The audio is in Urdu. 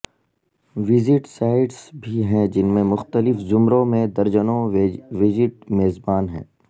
ویجیٹ سائٹس بھی ہیں جن میں مختلف زمروں میں درجنوں ویجٹ میزبان ہیں